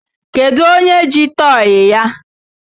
Kedu onye ji tọyị ya?